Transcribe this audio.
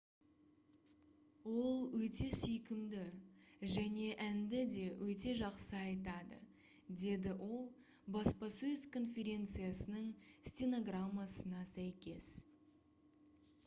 «ол өте сүйкімді және әнді де өте жақсы айтады» - деді ол баспасөз конференциясының стенограммасына сәйкес